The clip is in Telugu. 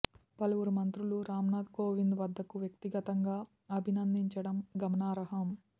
పలువురు మంత్రులు రామ్నాథ్ కోవింద్ వద్దకు వ్యక్తిగతంగా అభినందించటం గమనార్హం